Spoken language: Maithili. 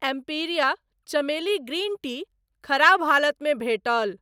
एम्पिरिया चमेली ग्रीन टी खराब हालत मे भेटल।